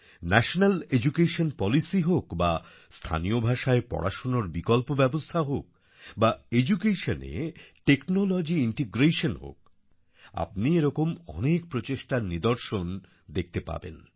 national education policy হোক বা স্থানীয় ভাষায় পড়াশোনার বিকল্প ব্যবস্থা হোক বা Educationএ টেকনোলজি ইন্টিগ্রেশন হোক আপনি এরকম অনেক প্রচেষ্টার নিদর্শন অনেক দেখতে পাবেন